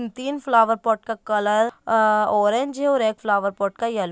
तीन flower pot का colour orange है और एक फ्लावर पॉट का येलो .